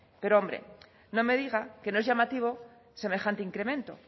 pero hombre no me diga que no es llamativo semejante incremento